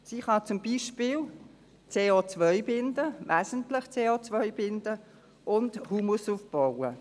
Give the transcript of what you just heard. Sie kann zum Beispiel wesentlich CO binden und Humus aufbauen.